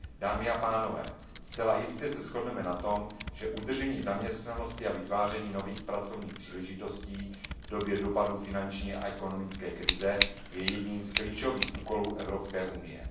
Dámy a pánové, zcela jistě se shodneme na tom, že udržení zaměstnanosti a vytváření nových pracovních příležitostí v době dopadu finanční a ekonomické krize je jedním z klíčových úkolů Evropské unie.